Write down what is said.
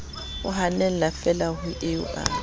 o hannefeela ha eo a